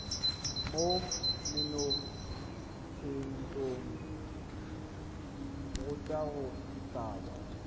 mo menontshetsong kgotsa go tlhaba